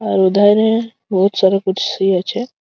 আর এধারে বহুত সারা কুর্সি আছে।